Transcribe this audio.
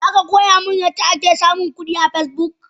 Zaka koya min yadda ake samun kudi a Facebook?